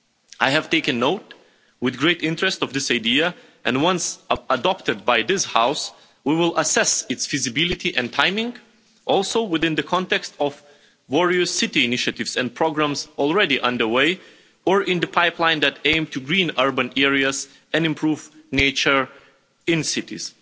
I have taken note with great interest of this idea, and once adopted by this House, we will assess its feasibility and timing, also within the context of various city initiatives and programmes already under way or in the pipeline that aim to green urban areas and improve nature in cities.